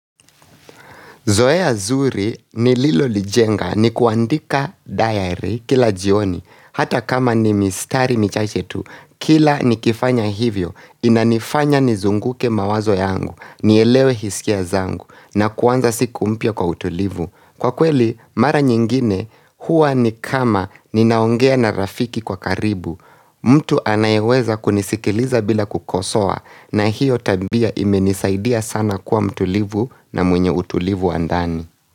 Zoe zuri nililo lijenga ni kuandika diary kila jioni, hata kama ni mistari michache tu, kila nikifanya hivyo, inanifanya nizunguke mawazo yangu, nielewe hisia zangu, na kuwanza siku mpia kwa utulivu. Kwa kweli mara nyingine huwa ni kama ninaongea na rafiki kwa karibu mtu anayeweza kunisikiliza bila kukosoa na hiyo tabia imenisaidia sana kuwa mtulivu na mwenye utulivu wa ndani.